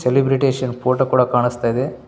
Celebration photo ಕೂಡ ಕಾಣಿಸ್ತಾಯಿದೆ.